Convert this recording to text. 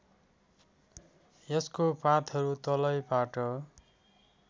यसको पातहरू तलैबाट